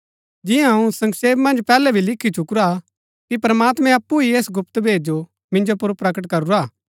जिन्या अऊँ संक्षेप मन्ज पैहलै भी लिखी चुकुरा हा कि प्रमात्मैं अप्पु ही ऐस गुप्त भेद जो मिन्जो पुर प्रकट करूरा हा